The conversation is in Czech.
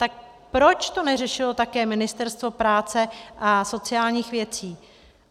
Tak proč to neřešilo také Ministerstvo práce a sociálních věcí?